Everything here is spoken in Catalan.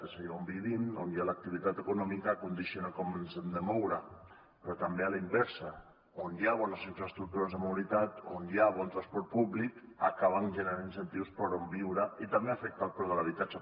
és a dir on vivim on hi ha l’activitat econòmica condiciona com ens hem de moure però també a la inversa on hi ha bones infraestructures de mobilitat on hi ha bon transport públic s’acaben generant incentius per on viure i també s’afecta el preu de l’habitatge